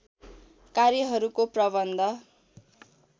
कार्यहरूको प्रबन्ध